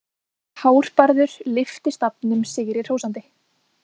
Hárbarður lyfti stafnum sigri hrósandi.